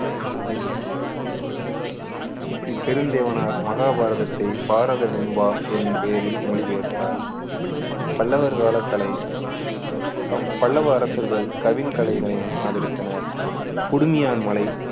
இப்பெருந்தேவனார் மகாபாரதத்தை பாரத வெண்பா என்னும் பெயரில் மொழிபெயர்த்தார் பல்லவர் கால கலை பல்லவ அரசர்கள் கவின் கலைகளையும் ஆதரித்தனர் குடுமியான்மலை